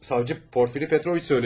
Savcı Porfiri Petroviç söylədi.